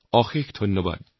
বহুত বহুত ধন্যবাদ